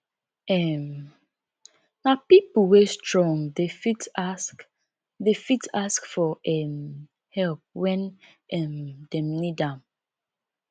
um nah pipo wey strong dey fit ask dey fit ask for um help wen um dem need am